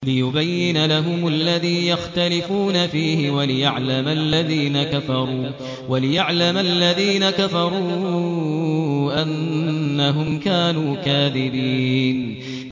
لِيُبَيِّنَ لَهُمُ الَّذِي يَخْتَلِفُونَ فِيهِ وَلِيَعْلَمَ الَّذِينَ كَفَرُوا أَنَّهُمْ كَانُوا كَاذِبِينَ